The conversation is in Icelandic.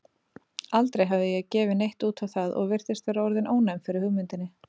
Aldrei hafði ég gefið neitt út á það og virtist vera orðin ónæm fyrir hugmyndinni.